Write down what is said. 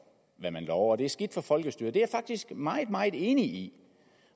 hvad man lover det er skidt for folkestyret det er jeg faktisk meget meget enig i